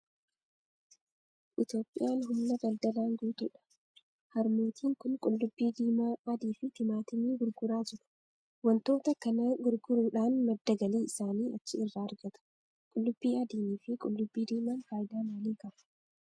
Itoophiyaan humna daldalaan guutuudha. Harmootiin kun qullubbii diimaa, adii fi timaatimii gurguraa jiru. Waantota kana gurguruudhaan madda galii isaanii achi irraa argatu. Qullubbii adiin fi qullubbii diimaan faayidaa maalii qabu?